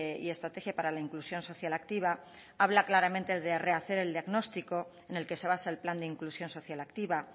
y estrategia para la inclusión social activa habla claramente de rehacer el diagnóstico en el que se basa el plan de inclusión social activa